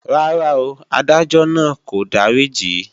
Rárá o, Adájọ́ náà kò dáríjì í